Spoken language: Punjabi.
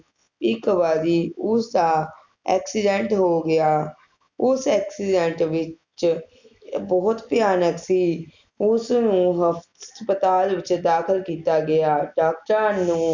ਇਕ ਵਾਰੀ ਉਸਦਾ Accident ਹੋ ਗਿਆ ਉਸ Accident ਵਿਚ ਬੋਹੋਤ ਭਿਆਨਕ ਸੀ ਉਸ ਨੂੰ ਹਸਪਤਾਲ ਵਿਚ ਦਾਖ਼ਲ ਕੀਤਾ ਗਿਆ ਡਾਕਟਰਾਂ ਨੂੰ